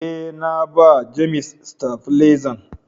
Eh, na ba " James " stafilezan.